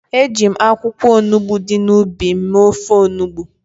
Eji m akwụkwọ olugbo dị n’ubi m mee ofe olugbo.